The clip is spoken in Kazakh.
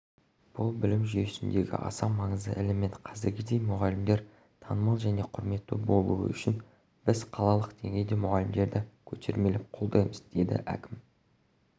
бұл білім жүйесіндегі аса маңызды элемент қазіргідей мұғалімдер танымал және құрметті болуы үшін біз қалалық деңгейде мұғалімдерді көтермелеп қолдаймыз деді әкім